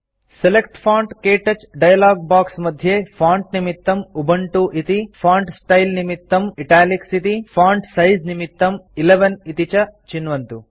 select font - क्तौच dialog box मध्ये font निमित्तं उबुन्तु इति फोंट स्टाइल निमित्तं इटालिक्स इति फोंट सिझे निमित्तं 11 इति च चिन्वन्तु